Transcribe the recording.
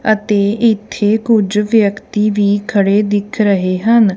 ਅਤੇ ਇੱਥੇ ਕੁਝ ਵਿਅਕਤੀ ਵੀ ਖੜੇ ਦਿਖ ਰਹੇ ਹਨ।